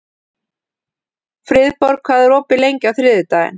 Friðborg, hvað er opið lengi á þriðjudaginn?